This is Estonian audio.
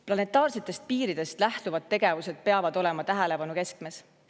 Planetaarsetest piiridest lähtuvad tegevused peavad olema tähelepanu keskmes.